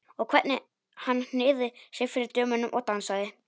Og hvernig hann hneigði sig fyrir dömunum og dansaði!